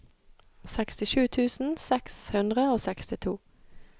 sekstisju tusen seks hundre og sekstito